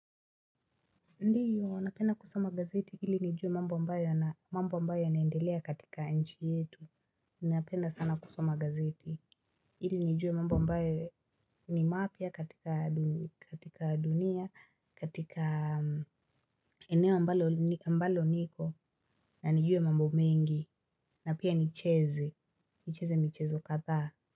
Ndiyo, napenda kusoma gazeti ili nijue mambo ambayo yanaendelea katika nchi yetu. Napenda sana kusoma gazeti. Ili nijue mambo ambayo ni mapya katika dunia, katika eneo ambalo niko, na nijue mambo mengi, na pia nicheze, nicheze mchezo kadhaa.